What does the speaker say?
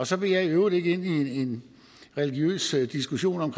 så vil jeg i øvrigt ikke ind i en religiøs diskussion om